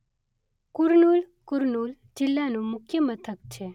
કુર્નૂલ કુર્નૂલ જિલ્લાનું મુખ્ય મથક છે.